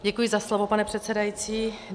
Děkuji za slovo, pane předsedající.